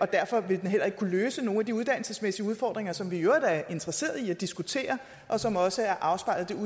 derfor vil den heller ikke kunne løse nogle af de uddannelsesmæssige udfordringer som vi i øvrigt er interesseret i at diskutere og som også er afspejlet